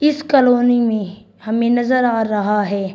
इस कॉलोनी मे हमें नजर आ रहा है।